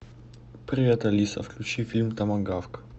привет алиса включи фильм томагавк